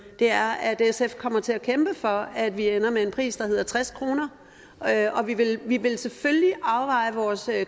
er at sf kommer til at kæmpe for at vi ender med en pris på tres kr og vi vil vi vil selvfølgelig afveje vores